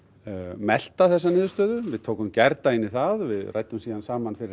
melta þessa niðurstöðu við tókum gærdaginn í það við ræddum síðan saman fyrir